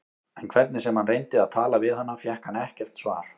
En hvernig sem hann reyndi að tala við hana fékk hann ekkert svar.